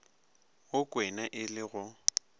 wo kwena e le go